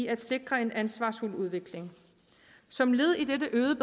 at sikre en ansvarsfuld udvikling som led i dette øgede